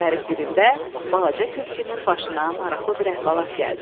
Günlərin birində balaca tülkünün başına maraqlı bir əhvalat gəldi.